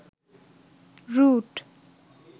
root